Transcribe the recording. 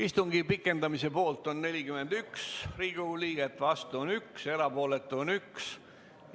Istungi pikendamise poolt on 41 Riigikogu liiget, vastuolijaid on 1 ja ka erapooletuid on 1.